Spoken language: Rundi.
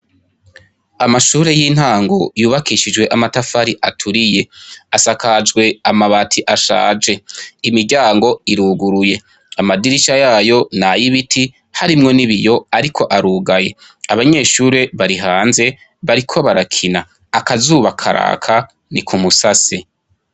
Amashure yintango yubakishijwe amatafari aturiye asakajwe amabati ashaje imiryango iruguruye amadirisha yayo nayibiti harimwo nibiyo ariko arugaye abanyeshure bari hanze bariko barakina akazuba karaka nikumusase